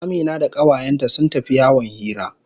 Amina da kawayenta sun tafi yawon hira.